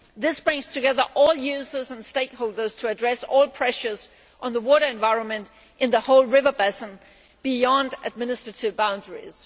This brings together all users and stakeholders to address all pressures on the water environment in the whole river basin, beyond administrative boundaries.